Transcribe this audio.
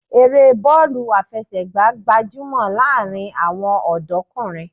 Eré bọ́ọ̀lù àfẹsẹ̀gbá gbajúmọ̀ láàárín àwọn ọ̀dọ́kùnrin